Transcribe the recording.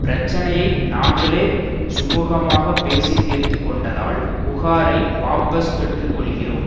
பிரச்சனையை நாங்களே சுமூகமாக பேசி தீர்த்து கொண்டதால் புகாரை வாபஸ் பெற்று கொள்கிறோம்